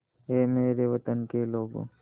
ऐ मेरे वतन के लोगों